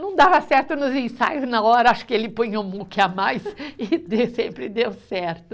Não dava certo nos ensaios na hora, acho que ele punha um muque a mais e de, sempre deu certo.